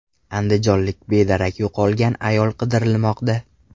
Andijonlik bedarak yo‘qolgan ayol qidirilmoqda.